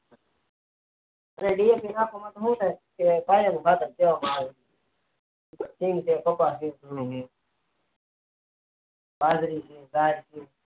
ખાતરમાં પાણી ને ખાતર દેવામાં આવે છે